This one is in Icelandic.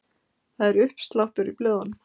Það er uppsláttur í blöðum.